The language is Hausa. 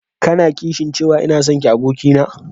Ka na kishin cewa ina sonki abokina?